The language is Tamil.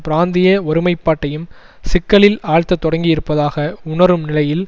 பிராந்திய ஒருமைப்பாட்டையும் சிக்கலில் ஆழ்த்தத் தொடங்கியிருப்பதாக உணரும் நிலையில்